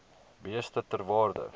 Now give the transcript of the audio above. beeste ter waarde